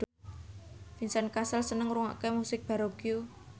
Vincent Cassel seneng ngrungokne musik baroque